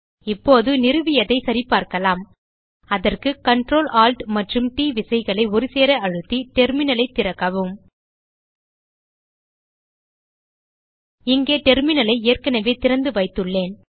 இப்போது நிறுவியதை சரிபார்க்கலாம் அதற்கு Ctrl Alt மற்றும் ட் விசைகளை ஒருசேர அழுத்தி டெர்மினல் ஐ திறக்கவும் இங்கே டெர்மினல் ஐ ஏற்கனவே திறந்துவைத்துள்ளேன்